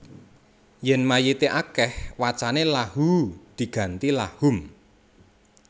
Yèn mayité akèh wacané Lahuu diganti Lahum